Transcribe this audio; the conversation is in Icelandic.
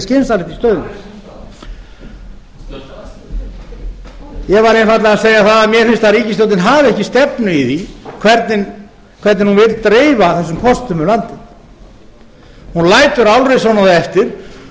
skynsamlegt í stöðunni ég var einfaldlega að segja að mér finnst að ríkisstjórnin hafi ekki stefnu í því hvernig hún vill dreifa þessum kostum um landið hún lætur álrisunum eftir